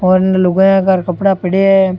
और इणने लुगाईया का कपडा पड़या है।